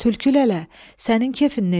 Tülkü lələ, sənin kefin necədir?